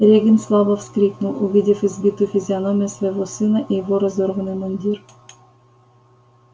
регент слабо вскрикнул увидев избитую физиономию своего сына и его разорванный мундир